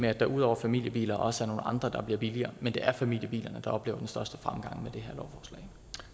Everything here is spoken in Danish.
at der ud over familiebiler også er nogle andre biler der bliver billigere men det er familiebilerne der oplever den største fremgang med det